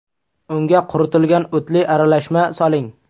Unga quritilgan o‘tli aralashma soling.